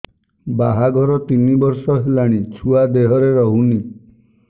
ବାହାଘର ତିନି ବର୍ଷ ହେଲାଣି ଛୁଆ ଦେହରେ ରହୁନି